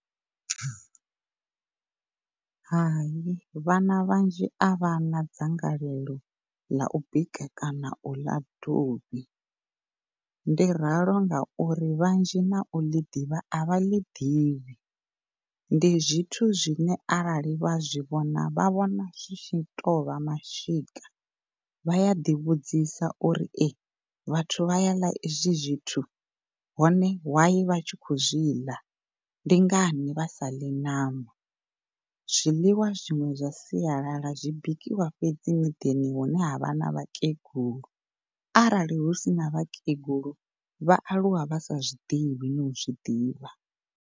Hai, vhana vhanzhi a vhana dzangalelo ḽa bika kana u ḽa dovhi ndi ralo ngauri vhanzhi na u ḽi ḓivha a vha ḽi ḓivhi. Ndi zwithu zwine arali vha zwi vhona vha vhona zwi tshi tou vha mashika vhaya ḓi vhudzisa uri ee vhathu vha ya ḽa ezwi zwithu hone why vha tshi khou zwiḽa ndi ngani vha saḽi ṋama zwiḽiwa zwiṅwe zwa sialala zwi bikiwa fhedzi miḓini hune ha vha na vhakegulu arali hu sina vhakegulu vha aluwa vha sa zwiḓivhi no zwiḓivha.